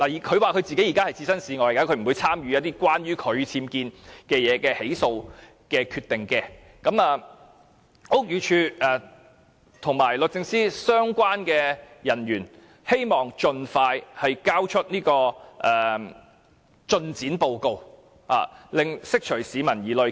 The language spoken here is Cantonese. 她現時說自己置身事外，不會參與關於她僭建的起訴決定，我便希望屋宇署及律政司的相關人員盡快提交進展報告，釋除市民疑慮。